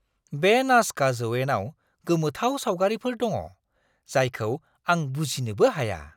बे नाजका जौयेनाव गोमोथाव सावगारिफोर दङ, जायखौ आं बुजिनोबो हाया!